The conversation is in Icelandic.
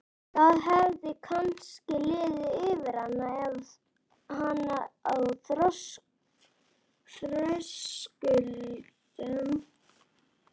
Það hefði kannski liðið yfir hana á þröskuldinum.